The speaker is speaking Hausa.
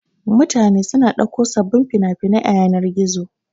Mutane suna ɗauko sababbin fina-finai a yanar-gizo.